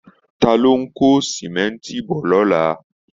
Ta ló ń kó símẹ́ńtì bọ̀ lọ́la